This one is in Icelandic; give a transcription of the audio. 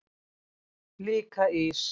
Líka ís.